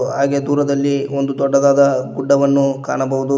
ಹಾಗೆ ದೂರದಲ್ಲಿ ಒಂದು ದೊಡ್ಡದಾದ ಗುಡ್ಡವನ್ನು ಕಾಣಬಹುದು.